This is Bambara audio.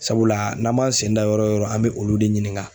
Sabula n'an m'an sen da yɔrɔ o yɔrɔ an bɛ olu de ɲininga